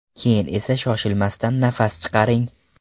Keyin esa shoshilmasdan nafas chiqaring.